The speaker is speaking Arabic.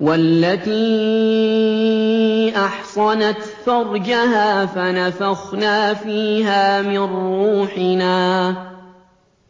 وَالَّتِي أَحْصَنَتْ فَرْجَهَا